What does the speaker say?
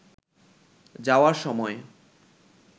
যাওয়ার সময়